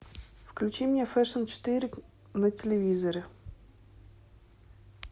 включи мне фэшн четыре на телевизоре